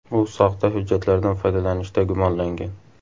U soxta hujjatlardan foydalanishda gumonlangan.